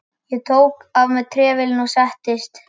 Ég tók af mér trefilinn og settist.